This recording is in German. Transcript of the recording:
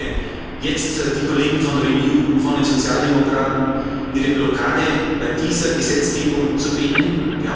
Und ich bitte jetzt die Kollegen von Renew und von den Sozialdemokraten, ihre Blockade bei dieser Gesetzgebung zu beenden.